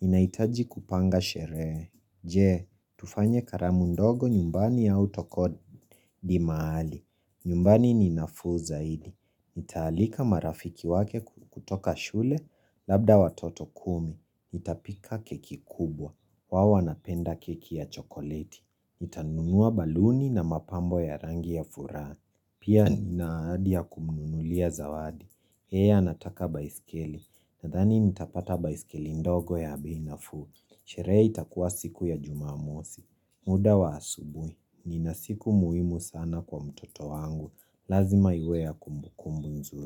Ninahitaji kupanga sherehe. Je, tufanye karamu ndogo nyumbani autukodi mahali. Nyumbani ni nafuu zaidi. Nitaalika marafiki wake kutoka shule labda watoto kumi. Nita pika keki kubwa. Wao wanapenda keki ya chokoleti. Nitanunua baluni na mapambo ya rangi ya furaha. Pia ninaahadi ya kumunulia zawadi. Yeye anataka baiskeli Nadhani nitapata baiskeli ndogo ya beinafuu Sherehe itakuwa siku ya jumamosi muda wa asubuhi Ninasiku muhimu sana kwa mtoto wangu Lazima iweya kumbu kumbu nzuri.